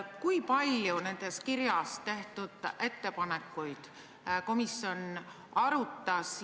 Kui palju selles kirjas tehtud ettepanekuid komisjon arutas?